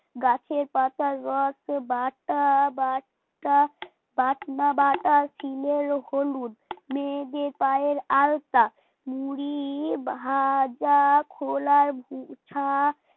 গাছের পাতার রস বা বাটা বাটা বাটনা বাটা সিলের হলুদ মেয়েদের পায়ের আলতা মুড়ি ভাজা খোলার গোছা